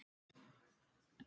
Enginn her.